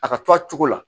A ka to a cogo la